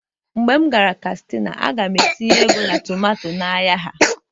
mgbe m gara kastina, a ga-etinye ego na tomato n'ahịa ha